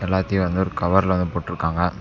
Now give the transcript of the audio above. எல்லாத்தையும் வந்து ஒரு கவர்ல போட்டுருக்காங்க.